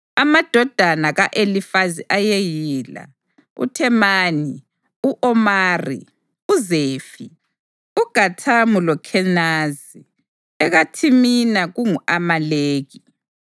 Amadodana ka-Elifazi ayeyila: uThemani, u-Omari, uZefi, uGathamu loKhenazi; ekaThimina kungu-Amaleki.